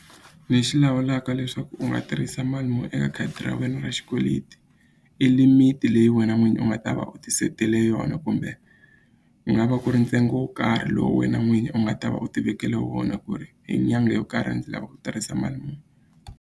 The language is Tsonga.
Lexi lawulaka leswaku u nga tirhisa mali muni eka khadi ra wena ra xikweleti i limit leyi wena n'winyi u nga ta va u tisetele yona kumbe u nga va ku ri ntsengo wo karhi lowu wena n'winyi u nga ta va u tivekele wona ku ri hi nyangha yo karhi ndzi lava ku tirhisa mali muni.